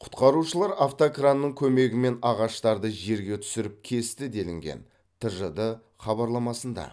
құтқарушылар автокранның көмегімен ағаштарды жерге түсіріп кесті делінген тжд хабарламасында